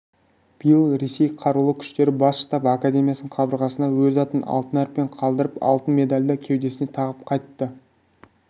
биыл ресей қарулы күштері бас штабы академиясының қабырғасына өз атын алтын әріппен қалдырып алтын медальді кеудесіне тағып қайтты